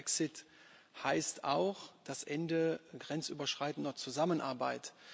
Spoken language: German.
Brexit heißt auch das Ende grenzüberschreitender Zusammenarbeit.